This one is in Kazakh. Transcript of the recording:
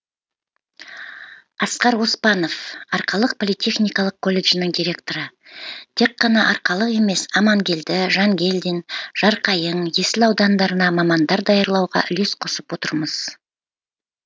асқар оспанов арқалық политехникалық колледжінің директоры тек қана арқалық емес амангелді жангелдин жарқайың есіл аудандарына мамандар даярлауға үлес қосып отырмыз